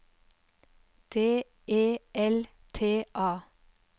D E L T A